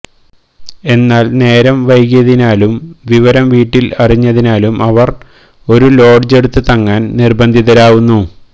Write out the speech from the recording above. എന്നാൽ നേരം വൈകിയതിനാലും വിവരം വീട്ടിൽ അറിഞ്ഞതിനാലും അവർ ഒരു ലോഡ്ജ് എടുത്ത് തങ്ങാൻ നിർബന്ധിതരാവുന്നു